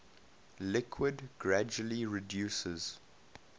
liquid gradually reduces